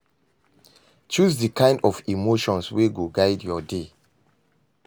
Choose di kind of emotions wey go guide yur day.